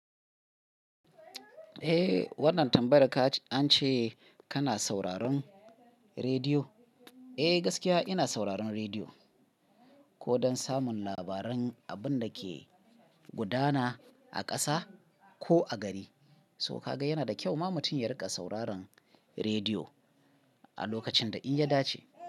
Eh wannan tambayar da ka ce an ce kana sauraron rediyo. Eh gaskiya ina sauraron rediyo ko don samun labaran abun da ke gudana a ƙasa ko a gari. So ka ga yana da kyau ma mutum ya riƙa sauraron rediyo a lokacin da in ya dace.